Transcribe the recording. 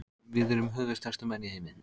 Við erum höfuðstærstu menn í heimi.